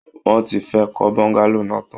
Wọ́n ti fẹ́ẹ̀ kọ́ Bọ́ńgálò náà tán